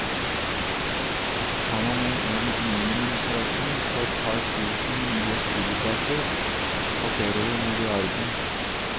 Tar man med en minimumsøkning på et par tusen nye studieplasser, passerer vi milliarden.